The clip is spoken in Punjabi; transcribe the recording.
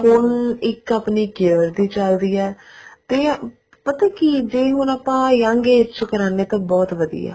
ਹੁਣ ਇੱਕ ਆਪਣੀ care ਦੀ ਚੱਲਦੀ ਆ ਤੇ ਪਤਾ ਕੀ ਜੇ ਹੁਣ ਆਪਾਂ young age ਚ ਕਰਨੇ ਹਾਂ ਤਾਂ ਬਹੁਤ ਵਧੀਆ